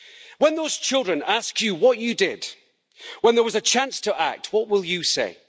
When those children ask you what you did when there was a chance to act, what will you say?